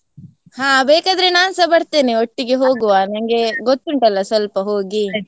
ಹಾ ಬೇಕಾದ್ರೆ ನಾನ್ಸ ಬರ್ತೇನೆ ಒಟ್ಟಿಗೆ ಹೋಗುವ, ನಂಗೆ ಗೊತುಂಟಲ್ಲ ಸ್ವಲ್ಪ ಹೋಗಿ.